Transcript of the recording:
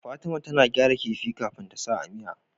Fatima tAna gyara kifi kafin tasa a miya